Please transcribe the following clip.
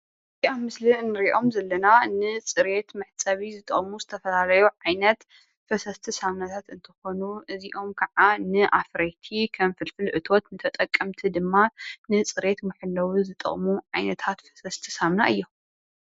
እዚ ኣብ ምስሊ እንሪኦም ዘለና ንፅሬት መሕፀቢ ዝጠቕሙ ዝተፈላለዩ ዓይነት ፈሰስቲ ሳሙናታት እንትኾኑ እዚኦም ካዓ ንኣፍረይቲ ፍልፍል እቶት ተጠቀምቲ ድማ ንፅሬት መሐለዊ ዝጠቕሙ ዓይነታት ፈሰስቲ ሳሙና እዮም፡፡